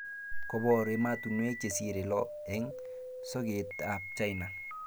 Kobor emotunuek chesire lo eng soket ab China